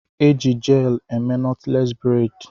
E Ji jelu eme nọtles bredi